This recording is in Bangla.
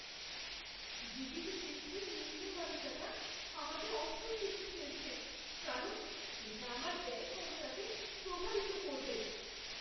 জিডিপি বৃদ্ধির নিম্নগামিতাটা আমাকে অস্বস্তিতে ফেলছে, কারণ এটা আমার ব্যয়ক্ষমতাকে প্রভাবিত করবে।